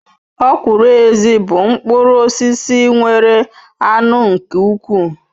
Okwuru ezi bu mkpuru osisi nwere anu nke ukwu